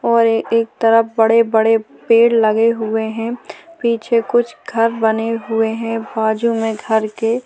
और ए एक तरफ बड़े बड़े पेड़ लगे हुए है पीछे कुछ घर बने हुए है बाजू में घर के --